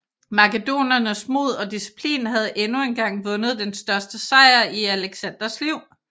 Makedonernes mod og disciplin havde endnu engang vundet den største sejr i Alexanders liv